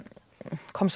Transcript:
kom